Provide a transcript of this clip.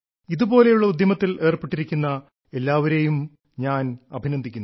ഇതുപോലുള്ള ഉദ്യമത്തിൽ ഏർപ്പെട്ടിരിക്കുന്ന എല്ലാവരെയും ഞാൻ അഭിനന്ദിക്കുന്നു